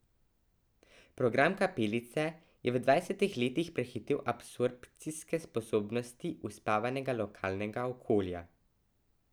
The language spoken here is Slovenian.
Program Kapelice je v dvajsetih letih prehitel absorpcijske sposobnosti uspavanega lokalnega okolja.